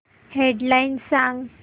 head lines सांग